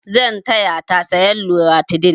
Zan taya ta sayan loratidin.